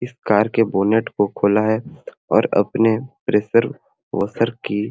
इस कार के बोनट को खोला हे और अपने प्रेशर वॉशर की--